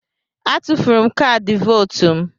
A tufuru m kaadị vootu m.